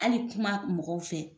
Hali kuma mɔgɔw fɛ